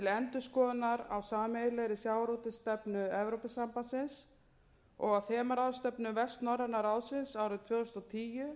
endurskoðunar á sameiginlegri sjávarútvegsstefnu evrópusambandsins og á þemaráðstefnu vestnorræna ráðsins árið tvö þúsund og tíu sem mun fjalla um kosti og galla fiskveiðistjórnarkerfis vestur